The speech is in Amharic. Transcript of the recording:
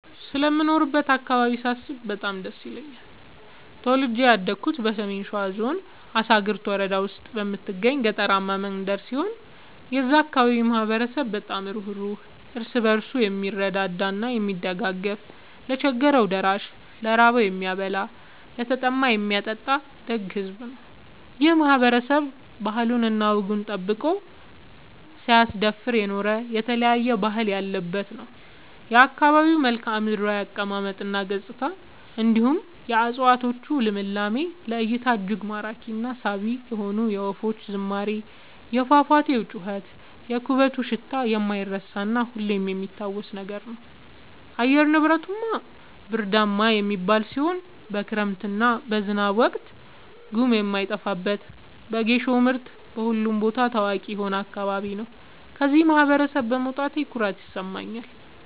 ስለምኖርበት አካባቢ ሳስብ በጣም ደስ ይለኛል። ተወልጄ ያደኩት በሰሜን ሸዋ ዞን አሳግርት ወረዳ ውስጥ በምትገኝ ገጠራማ መንደር ሲሆን የዛ አካባቢ ማህበረሰብ በጣም ሩህሩህ ÷ እርስ በርሱ የምረዳዳ እና የሚደጋገፍ ለቸገረው ደራሽ ÷ ለራበው የሚያበላ ÷ለተጠማ የሚያጠጣ ደግ ሕዝብ ነው። ይህ ማህበረሰብ ባህሉን እና ወጉን ጠብቆ ሳያስደፍር የኖረ የተለያየ ባህል ያለበት ነው። የአካባቢው መልከዓምድራው አቀማመጥ እና ገጽታ እንዲሁም የ እፀዋቶቹ ልምላሜ ለ እይታ እጅግ ማራኪ እና ሳቢ የሆነ የወፎቹ ዝማሬ የፏፏቴው ጩኸት የኩበቱ ሽታ የማይረሳ እና ሁሌም የሚታወስ ነገር ነው። አየር ንብረቱ ብርዳማ የሚባል ሲሆን በክረምት እና በዝናብ ወቅት ጉም የማይጠፋበት በጌሾ ምርት በሁሉም ቦታ ታዋቂ የሆነ አካባቢ ነው። ከዚህ ማህበረሰብ በመውጣቴ ኩራት ይሰማኛል።